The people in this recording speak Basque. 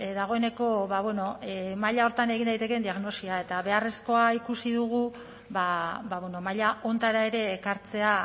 dagoeneko ba bueno maila horretan egin daitekeen diagnosia eta beharrezkoa ikusi dugu ba bueno mahaia honetara ere ekartzea